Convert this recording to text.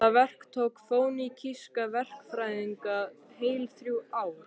Það verk tók fönikíska verkfræðinga heil þrjú ár.